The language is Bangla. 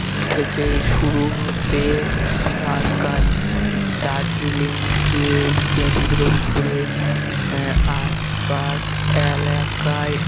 থেকেই শুরু হবে তার কাজ দার্জিলিংকে কেন্দ্র করে আহ আশপাশ এলাকায়